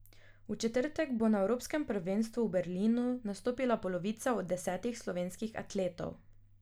V četrtek bo na evropskem prvenstvu v Berlinu nastopila polovica od desetih slovenskih atletov.